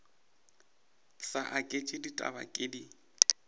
sa aketše ditaba ke di